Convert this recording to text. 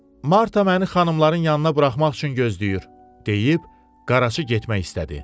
Marta məni xanımların yanına buraxmaq üçün gözləyir, deyib Qaraçı getmək istədi.